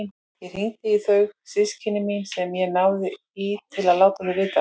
Ég hringdi í þau systkini mín sem ég náði í til að láta þau vita.